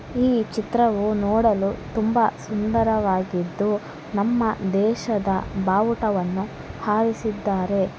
ಈ ಚಿತ್ರವು ನೋಡಲು ತುಂಬಾ ಸುಂದರವಾಗಿದ್ದು ನಮ್ಮ ದೇಶದ ಬಾವುಟವನ್ನು ಆರಿಸಿದ್ದಾರೆ.